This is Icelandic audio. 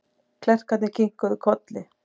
Klerkarnir kinkuðu kolli.